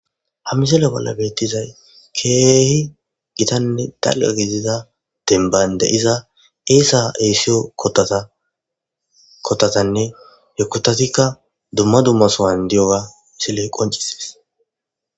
ha mizela bolla beettizay keehi gitanne daqa gizida denban de iza eesa eesiyo kotatanne hekotatikka dumma dummasowan diyoga isiley qoncises